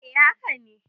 E, haka ne.